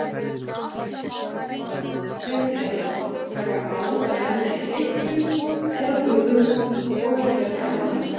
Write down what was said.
Þegar roffleti er náð taka ár að renna í hlykkjum eða bugðum og víkka dalina.